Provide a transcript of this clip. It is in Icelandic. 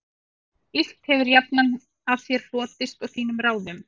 Illt hefir jafnan af þér hlotist og þínum ráðum